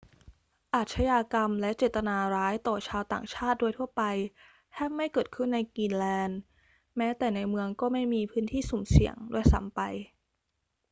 อาชญากรรมและเจตนาร้ายต่อชาวต่างชาติโดยทั่วไป แทบไม่เกิดขึ้นในกรีนแลนด์ แม้แต่ในเมืองก็ไม่มี พื้นที่สุ่มเสี่ยง ด้วยซ้ำไป